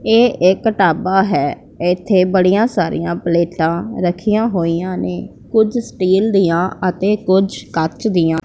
ਇਹ ਇੱਕ ਢਾਬਾ ਹੈ ਇਥੇ ਬੜੀਆਂ ਸਾਰੀਆਂ ਪਲੇਟਾਂ ਰੱਖੀਆਂ ਹੋਈਆਂ ਨੇ ਕੁਝ ਸਟੀਲ ਦੀਆਂ ਅਤੇ ਕੁਝ ਕੱਚ ਦੀਆਂ--